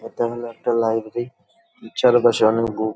এটা হল একটা লাইব্রেরি --]